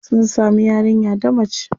Sun samu yarinya ta mace.